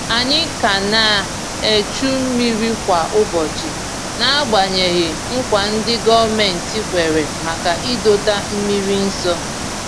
Ànyị ka ná echu mmiri kwa ụbọchị n'agbanyeghị nkwa ndi gọọmenti kwèrè maka ịdọta mmiri nso